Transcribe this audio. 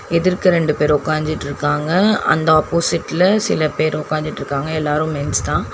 எதுற்க ரெண்டு பேர் உக்காஞ்சிட்ருக்காங்க அந்த ஆப்போசிட்ல சில பேர் உக்காஞ்சிட்டுருக்காங்க எல்லாரு மென்ஸ்தா .